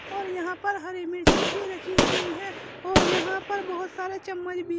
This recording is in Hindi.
और यहां पर हरी मिर्चे भी रखी हुई हैं और यहां पर बहोत सारे चम्मच भी --